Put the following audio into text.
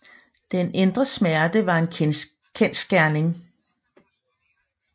Den indre smerte var en kendsgerning